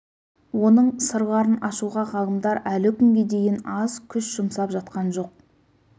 оның сырларын ашуға ғалымдар әлі күнге дейін аз күш жұмсап жатқан жоқ